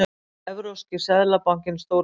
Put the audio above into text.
Evrópski seðlabankinn stórtækur